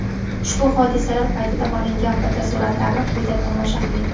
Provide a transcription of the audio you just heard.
Ushbu hodisalar paytida olingan fotosuratlarni quyida tomosha qiling.